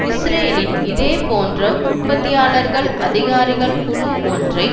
இஸ்ரேலின் இதே போன்ற உற்பத்தியாளர்கள் அதிகாரிகள் குழு ஒன்றை